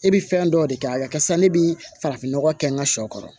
E bɛ fɛn dɔ de kɛ a karisa ne bɛ farafinnɔgɔ kɛ n ka shɔ kɔrɔ